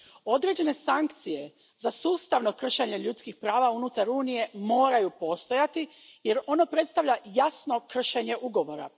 Određene sankcije za sustavno kršenje ljudskih prava unutar Unije moraju postojati jer ono predstavlja jasno kršenje ugovora.